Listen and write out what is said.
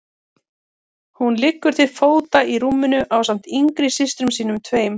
Hún liggur til fóta í rúminu ásamt yngri systrum sínum tveim.